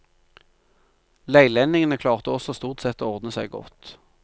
Leilendingene klarte også stort sett å ordne seg godt.